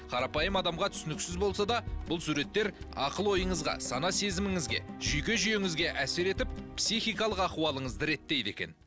қарапайым адамға түсініксіз болса да бұл суреттер ақыл ойыңызға сана сезіміңізге жүйке жүйеңізге әсер етіп психикалық ахуалыңызды реттейді екен